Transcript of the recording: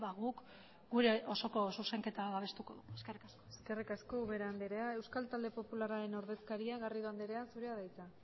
guk gure osoko zuzenketa babestuko dugu eskerrik asko eskerrik asko ubera anderea euskal talde popularraren taldeko ordezkaria garrido anderea zurea da hitza